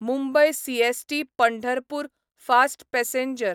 Mumbai CST Pandharpur fast passenger